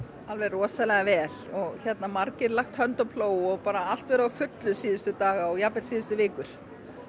alveg rosalega vel og margir lagt hönd á plóg og bara allt verið á fullu síðustu daga og jafnvel síðustu vikur